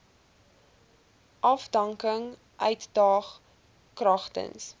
afdanking uitdaag kragtens